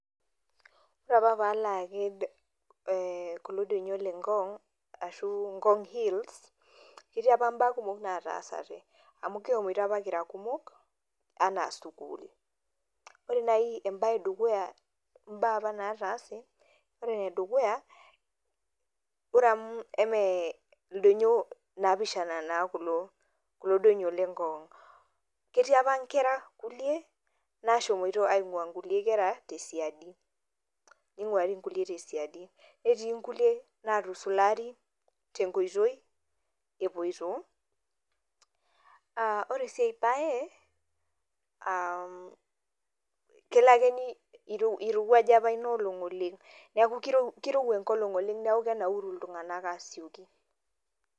ore apa pee alo aked kulo donyio le ngong arashu ngong hlls ketii apa mbaa kumok naataasate. amu kishomoito apa kira kumok, amukishomo apa ana sukuul. ore endukuya ombaa apa nataase. ore ene dukuya, ore amu eme ildoinyio naapishan naa kulo kulo donyio le ngong. ketii apa nkera kulie nashomoito aing'ua nkulie kera tesiadi, ninguari nkulie tesiadi. netii nkulie, naatusulari tenkoitoi, epoito, ore sii ae bae, aa kelo ake irowuaj apa inoolong' oleng. neeku kirowua enkolong oleng neeku kenauru iltunganak aasioki.